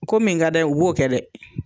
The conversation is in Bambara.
Ko min ka d'a ye u b'o kɛ dɛ